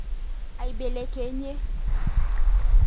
Aibelekenyie.